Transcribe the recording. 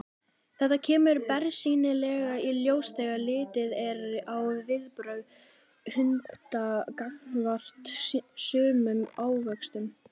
Þetta kemur bersýnilega í ljós þegar litið er á viðbrögð hunda gagnvart sumum ávöxtum.